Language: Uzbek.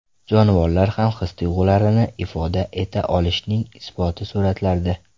Jonivorlar ham his-tuyg‘ularini ifoda eta olishining isboti suratlarda.